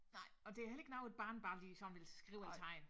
Nej og det heller ikke noget et barn bare lige sådan ville skrive eller tegne